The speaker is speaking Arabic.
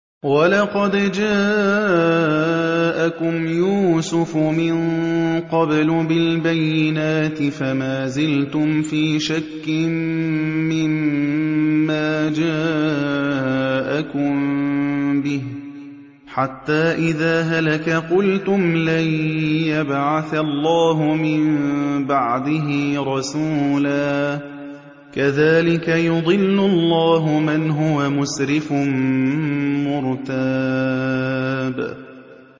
وَلَقَدْ جَاءَكُمْ يُوسُفُ مِن قَبْلُ بِالْبَيِّنَاتِ فَمَا زِلْتُمْ فِي شَكٍّ مِّمَّا جَاءَكُم بِهِ ۖ حَتَّىٰ إِذَا هَلَكَ قُلْتُمْ لَن يَبْعَثَ اللَّهُ مِن بَعْدِهِ رَسُولًا ۚ كَذَٰلِكَ يُضِلُّ اللَّهُ مَنْ هُوَ مُسْرِفٌ مُّرْتَابٌ